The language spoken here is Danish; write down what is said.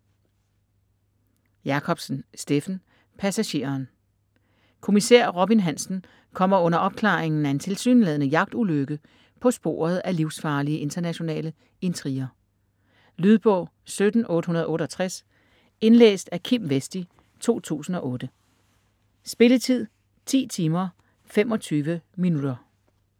Jacobsen, Steffen: Passageren Kommissær Robin Hansen kommer under opklaringen af en tilsyneladende jagtulykke på sporet af livsfarlige internationale intriger. Lydbog 17868 Indlæst af Kim Westi, 2008. Spilletid: 10 timer, 25 minutter.